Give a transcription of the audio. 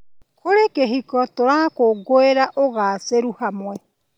Harĩ kĩhiko, tũrakũngũira ũgacĩĩru hamwe.